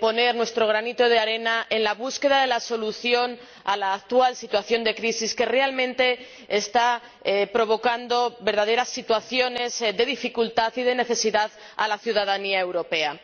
poner nuestro granito de arena en la búsqueda de la solución a la actual situación de crisis que, realmente, está provocando verdaderas situaciones de dificultad y de necesidad a la ciudadanía europea.